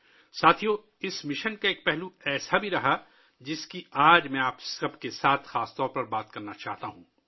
ساتھیو ، اس مشن کا ایک پہلو رہا ہے ، جس پر ،میں آج آپ سب سے خصوصی طور پر بات کرنا چاہتا ہوں